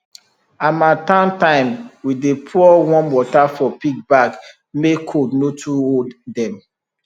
harmattan time we dey pour warm water for pig back make cold no too hold dem